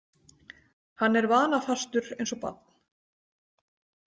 Hann er vanafastur eins og barn.